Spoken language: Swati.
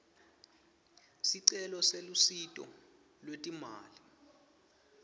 sicelo selusito lwetimali